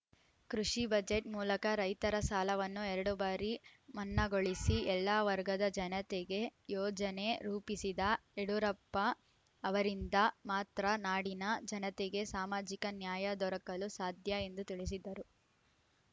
ಕೃಷಿ ಬಜೆಟ್‌ ಮೂಲಕ ರೈತರ ಸಾಲವನ್ನು ಎರಡು ಬಾರಿ ಮನ್ನಾಗೊಳಿಸಿ ಎಲ್ಲ ವರ್ಗದ ಜನತೆಗೆ ಯೋಜನೆ ರೂಪಿಸಿದ ಯಡಿಯೂರಪ್ಪ ಅವರಿಂದ ಮಾತ್ರ ನಾಡಿನ ಜನತೆಗೆ ಸಾಮಾಜಿಕ ನ್ಯಾಯ ದೊರಕಲು ಸಾಧ್ಯ ಎಂದು ತಿಳಿಸಿದರು